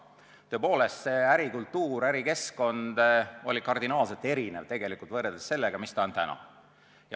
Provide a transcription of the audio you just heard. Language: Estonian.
Tõepoolest, ärikultuur ja ärikeskkond oli kardinaalselt erinev sellest, mis ta on täna.